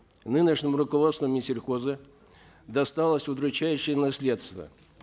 нынешнему руководству минсельхоза досталось удручающее наследство